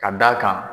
Ka d'a kan